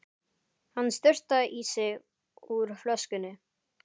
Hann sturtaði í sig úr flöskunni.